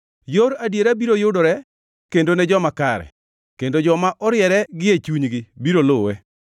Yor adiera biro yudore kendo ne joma kare, kendo joma oriere gie chunygi biro luwe.